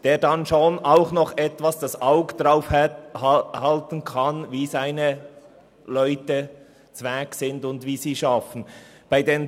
Ein privater Car-Unternehmer kann schon noch etwas sein Augenmerk darauf legen, in welcher Verfassung seine Leute sind und wie sie arbeiten.